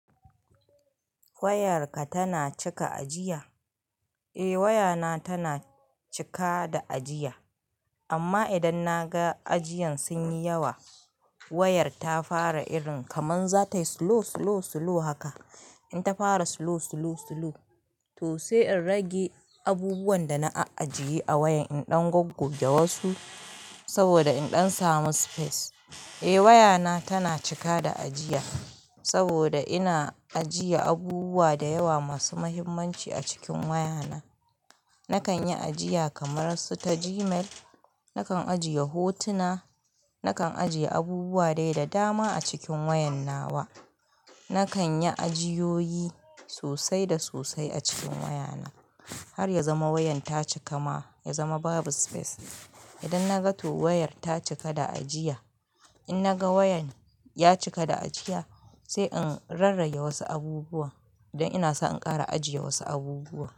Wayarka tana cika ajiya? Eh wayana tana cika da ajiya amma idan na ga ajiyan sun yi yawa, wayar ta fara irin kaman zatayi slow, slow, slow haka. In ta fara slow, slow, slow, to sai in rage abubuwan da na ajiye a wayan, in ɗan gogge wasu saboda in ɗan samu space. Eh wayana tana cika da ajiya saboda ina ajiye abubuwa da yawa masu muhimmanci a cikin wayana. Nakan yi ajiya kamar su ta Gmail, nakan ajiye hotuna, nakan ajiye abubuwa dai da dama a cikin wayan na wa. Nakan yi ajiyoyi sosai da sosai a cikin wayana har ya zama wayan ta cika ma, ya zama babu space. Idan na ga to wayar ta cika da ajiya, in na ga wayan ya cika da ajiya, sai in rarrage wasu abubuwa don ina so in ƙara ajiye wasu abubuwa.